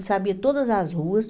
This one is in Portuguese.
Ele sabia todas as ruas.